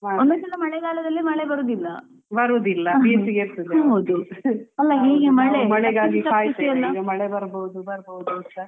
ಒಮ್ಮೊಮ್ಮೆ ಸ ಮಳೆಗಾಲದಲ್ಲಿ ಮಳೆ ಬರುವುದಿಲ್ಲ ಹೌದು